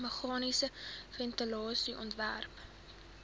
meganiese ventilasie ontwerp